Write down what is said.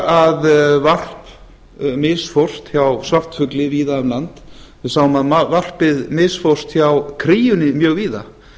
að varp misfórst hjá svartfugli víða um land við sáum að varpið misfórst hjá kríunni mjög víða